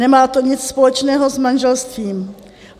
Nemá to nic společného s manželstvím.